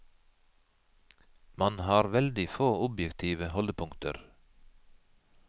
Man har veldig få objektive holdepunkter.